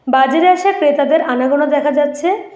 বাজারে আসা ক্রেতাদের আনাগোনা দেখা যাচ্ছে।